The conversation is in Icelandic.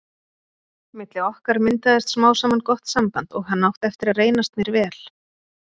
Milli okkar myndaðist smám saman gott samband og hann átti eftir að reynast mér vel.